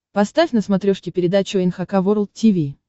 поставь на смотрешке передачу эн эйч кей волд ти ви